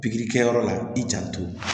Pikiri kɛyɔrɔ la i janto